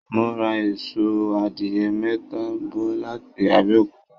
Mo ra asọ àdìrẹ mẹ́ta bọ̀ láti Abẹkuta